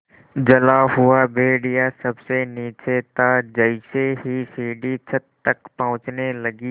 जला हुआ भेड़िया सबसे नीचे था जैसे ही सीढ़ी छत तक पहुँचने लगी